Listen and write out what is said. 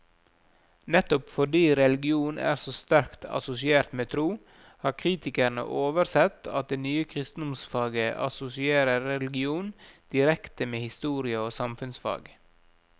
Nettopp fordi religion er så sterkt assosiert med tro, har kritikerne oversett at det nye kristendomsfaget assosierer religion direkte med historie og samfunnsfag.